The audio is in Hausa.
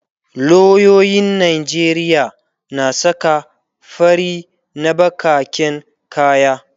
loyoyin Najeriya na saka fari na bakaken kaya